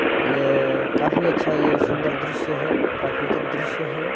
ये काफी अच्छा ये सुन्दर दृश्य है प्राकृतिक दृश्य है।